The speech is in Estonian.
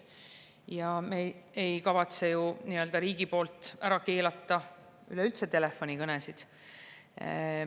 Ja me ei kavatse ju riigina telefonikõnesid üleüldse ära keelata.